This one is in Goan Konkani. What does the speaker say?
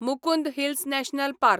Mukundra hills national park